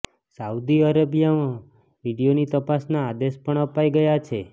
Saudi અરેબિયામાં વીડિયોની તપાસના આદેશ પણ અપાઇ ગયા છે